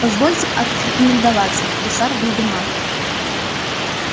позвольте отрекомендоваться гусар вольдемар